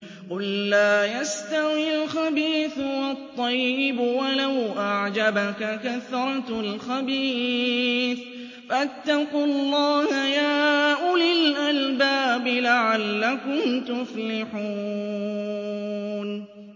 قُل لَّا يَسْتَوِي الْخَبِيثُ وَالطَّيِّبُ وَلَوْ أَعْجَبَكَ كَثْرَةُ الْخَبِيثِ ۚ فَاتَّقُوا اللَّهَ يَا أُولِي الْأَلْبَابِ لَعَلَّكُمْ تُفْلِحُونَ